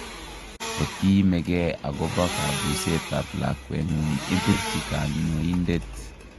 Kotiimekee akobo kabuuset ab lakwetngung' ibirchi kanyoindet